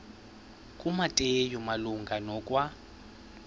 kumateyu malunga nokwa